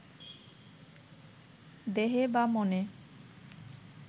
দেহে বা মনে